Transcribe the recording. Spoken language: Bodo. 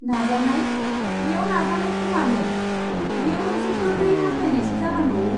नाजानाय? बेयाव नाजानायखौ मानो, बेयो मोनसे गोरलै हास्थायनायसो जानांगौ!